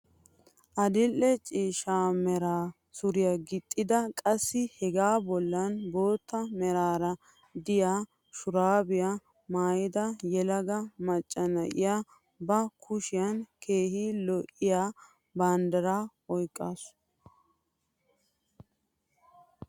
Adil'e ciishsha mera suriyaa gixxada qassi hegaa bollan bootta meraara de'iyaa shurabiyaa maayida yelaga macca na'iyaa ba kushiyaan keehi lo'iyaa banddiraa oyqqasu.